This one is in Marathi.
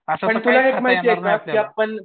पण तुला एक माहिती आहे का त्यात पण